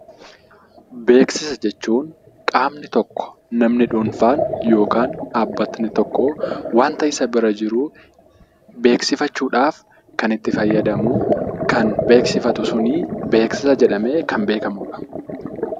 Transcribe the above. Beeksisa jechuun qaamni tokko namni dhuunfaan yookaan dhaabbatni tokko waanta isa bira jiru beeksifachuuf kan itti fayyadamuu, kan beeksifatu sunii beeksisa jedhamee kan beekamudha.